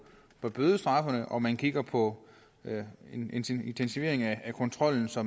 på bødestraffene og man kigger på en intensivering af kontrollen så